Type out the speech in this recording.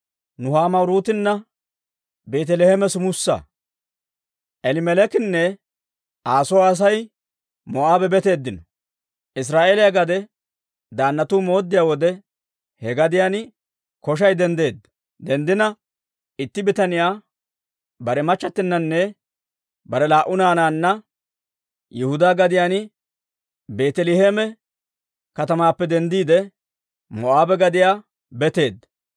Israa'eeliyaa gade daannatu mooddiyaa wode, he gadiyaan koshay denddeedda. Itti bitaniyaa bare machchattinanne bare laa"u naanaanne Yihudaa gadiyaan Beeteleeme katamaappe denddiide, Moo'aabe gadiyaa betteedda.